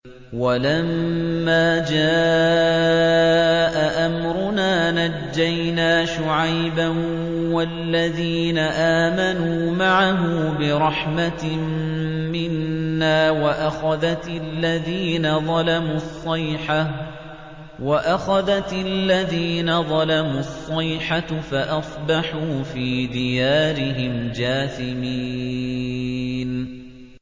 وَلَمَّا جَاءَ أَمْرُنَا نَجَّيْنَا شُعَيْبًا وَالَّذِينَ آمَنُوا مَعَهُ بِرَحْمَةٍ مِّنَّا وَأَخَذَتِ الَّذِينَ ظَلَمُوا الصَّيْحَةُ فَأَصْبَحُوا فِي دِيَارِهِمْ جَاثِمِينَ